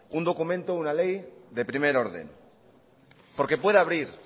un documento una ley de primer orden porque puede abrir